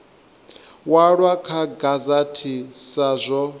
walwa kha gazette sa zwo